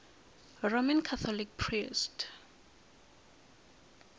roman catholic priest